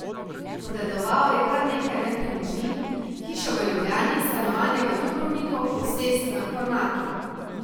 Podedoval je kar nekaj nepremičnin, hišo v Ljubljani, stanovanje v Dubrovniku, posest na Kornatu.